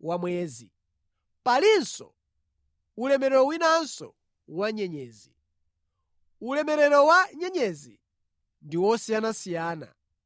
wa mwezi, palinso ulemerero winanso wa nyenyezi. Ulemerero wa nyenyezi ndi wosiyanasiyana.